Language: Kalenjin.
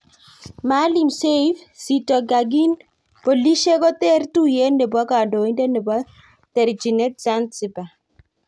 Maalim seif: zitto kagin polisiek koter tuiyet nepo kandoinatet nepo terchinet Zanzibar